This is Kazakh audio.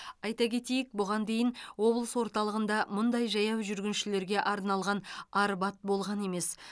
айта кетейік бұған дейін облыс орталығында мұндай жаяу жүргіншілерге арналған арбат болған емес